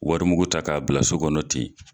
Wari mugu ta k'a bila so kɔnɔ ten.